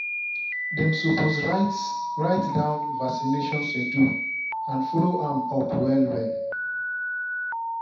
them suppose write write down vaccination schedule and follow am up well well.